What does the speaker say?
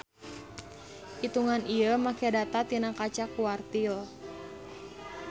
Itungan ieu make data tina kaca quartile.